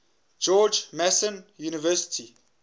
george mason university